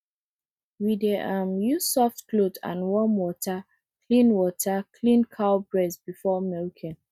we dey um use soft cloth and warm water clean water clean cow breast before milking